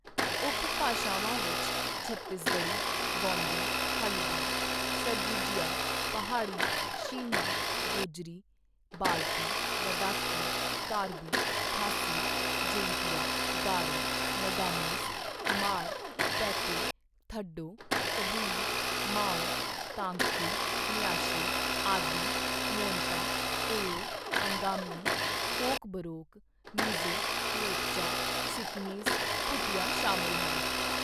ਉਪ ਭਾਸ਼ਾਵਾਂ ਵਿੱਚ ਛੱਤੀਸਗੜ੍ਹੀ, ਗੋਂਡੀ, ਹਲਬੀ, ਸਰਗੁਜੀਆ, ਪਹਾੜੀ, ਸ਼ੀਨਾ, ਗੋਜਰੀ, ਬਾਲਤੀ, ਲੱਦਾਖੀ, ਕਾਰਬੀ, ਖਾਸੀ, ਜੈਂਤੀਆ, ਗਾਰੋ, ਨਗਾਮੀਸ, ਹਮਾਰ, ਪੈਤੇ, ਥਡੌ, ਕਬੂਈ, ਮਾਓ, ਤਾਂਗਖੁਲ, ਨਿਆਸ਼ੀ, ਆਦਿ, ਮੋਨਪਾ, ਏਓ, ਅੰਗਾਮੀ, ਕੋਕਬੋਰੋਕ, ਮਿਜ਼ੋ, ਲੇਪਚਾ, ਸਿੱਕਮੀਜ਼ ਭੂਟੀਆ ਸ਼ਾਮਲ ਹਨ।